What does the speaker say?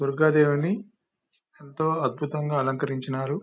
దుర్గాదేవిని ఎంతో అద్భుతంగా అలంకరించినారు.